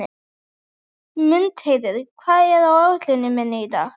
Mundheiður, hvað er á áætluninni minni í dag?